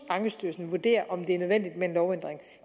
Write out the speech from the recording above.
ankestyrelsen vurdere om det er nødvendigt med en lovændring